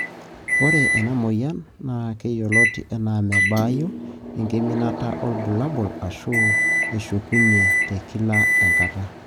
Ore ena moyian na keyioloti ena mebaayu, enkiminata olbulabul ashu eshukunyie tekila enkata.